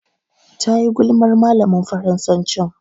Tayi gulmar malamin Faransacin.